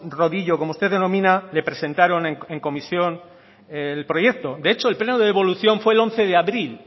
rodillo como usted denomina le presentaron en comisión el proyecto de hecho el pleno de devolución fue el once de abril